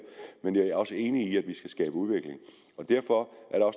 men jeg er også enig i at vi skabe udvikling derfor